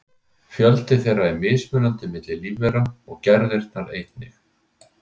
Fjöldi þeirra er mismunandi milli lífvera og gerðirnar einnig.